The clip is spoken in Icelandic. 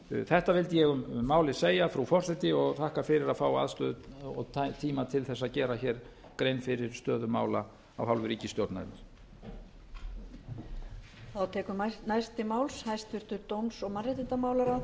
þetta vildi ég um málið segja frú forseti og þakka fyrir að fá aðstöðu og tíma til að gera grein fyrir stöðu mála af hálfu ríkisstjórnarinnar